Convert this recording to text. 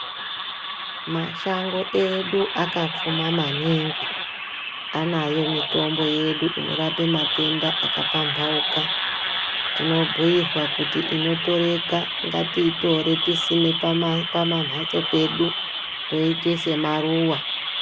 Mashango edu akapfuma maningi anayo mitombo yedu inorape matenda akapambauka tinobhuirwa kuti inotoreka ngatiitore tisime pamambatso pedu toiite semaruwa.